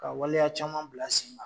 Ka waleya caman bila sen kan